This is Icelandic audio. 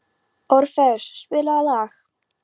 Orfeus, spilaðu lag.